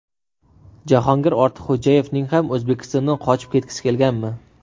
Jahongir Ortiqxo‘jayevning ham O‘zbekistondan qochib ketgisi kelganmi?